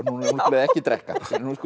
ekki drekka